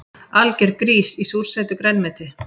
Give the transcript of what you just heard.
Algjör grís í súrsætu grænmeti